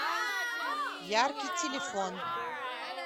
яркий телефон